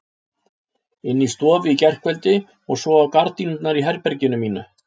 Inni í stofu í gærkveldi og svo á gardínurnar í herberginu mínu.